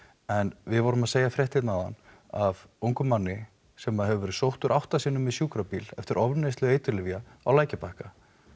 en við vorum að segja frétt hérna áðan af ungum manni sem að hefur verið sóttur átta sinnum í sjúkrabíl eftir ofneyslu eiturlyfja á lækjarbakka